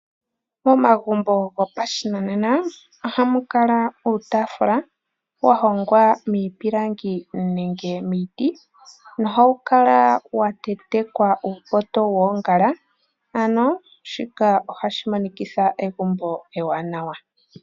Omagumbo gopashinanena ohamu kala iitaafula yahongwa miipilangi nenge miiti. Ohawu kala watentekwa uupoto woongala, shika ohashi monikitha egumbo ewanawa.